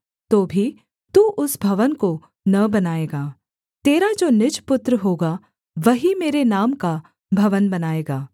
तो भी तू उस भवन को न बनाएगा तेरा जो निज पुत्र होगा वही मेरे नाम का भवन बनाएगा